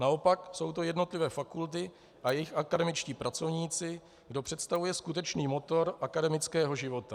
Naopak jsou to jednotlivé fakulty a jejich akademičtí pracovníci, kdo představuje skutečný motor akademického života.